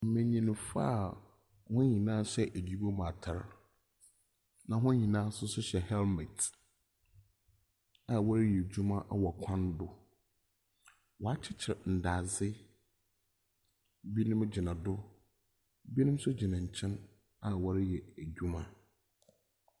Mbenyinfo a hɔn nyina hyɛ edwuma mu atar, na hɔn nyinaa nso hyɛ helmet a wɔreyɛ edwuma wɔ kwan do. Wɔakyekyer ndadze. Binom gyina do. Binom nso gyina nkɛn a wɔrehɛ edwuma.